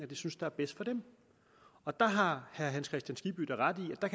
de synes er bedst for dem og der har herre hans kristian skibby da ret i at